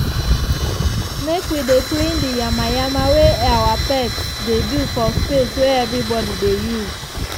make wi dey clean di yama yama wey awa pets dey do for space wey everybody dey use.